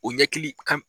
O ɲɛkili kan